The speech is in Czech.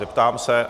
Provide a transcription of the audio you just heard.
Zeptám se...